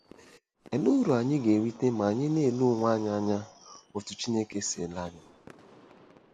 Olee uru anyị ga-erite ma anyị na-ele onwe anyị anya otú Chineke si ele anyị?